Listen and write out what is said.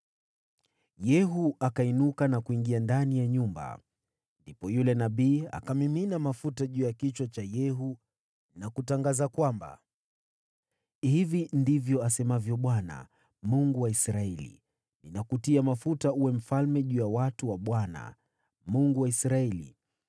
Yehu akainuka na kuingia ndani ya nyumba. Ndipo yule nabii akamimina mafuta juu ya kichwa cha Yehu na kutangaza, “Hivi ndivyo asemavyo Bwana , Mungu wa Israeli: ‘Ninakutia mafuta uwe mfalme juu ya watu wa Bwana , yaani Israeli.